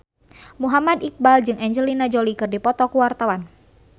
Muhammad Iqbal jeung Angelina Jolie keur dipoto ku wartawan